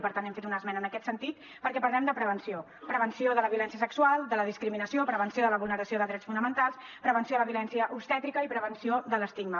i per tant hem fet una esmena en aquest sentit perquè parlem de prevenció prevenció de la violència sexual de la discriminació prevenció de la vulneració de drets fonamentals prevenció de la violència obstètrica i prevenció de l’estigma